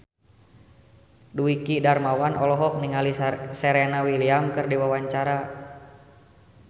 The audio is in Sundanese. Dwiki Darmawan olohok ningali Serena Williams keur diwawancara